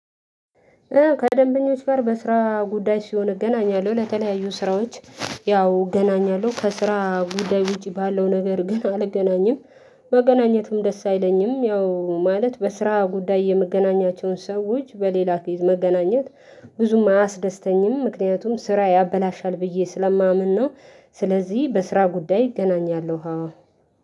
ከደንበኞች ጋር በስራ ጉዳይ ሲሆን እገናኛለሁ። ለተለያዩ ስራዎች ያው እገናኛለሁ ከስራ ጉዳይ ውጪ ባለው ነገር ግን አልገናኝም፣ መገናኘትም ደስ አይለኝም ያው ማለት በስራ ጉዳይ የመገናኛቸውን ሰዎች በሌላ ኬዝ መገናኘት ብዙም አያስደስተኝም ምክንያቱም ስራ ያበላሻል ብዬ ስለማምን ነው ስለዚህ በስራ ጉዳይ ይገናኛል አዎ።